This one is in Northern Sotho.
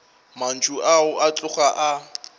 mantšu ao a tloga a